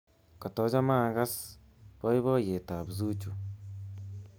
Kotochome akass boiboiyetab Zuchu